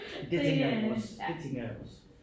Det tænker jeg jo også det tænker jeg også